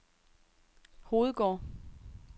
Hovedgård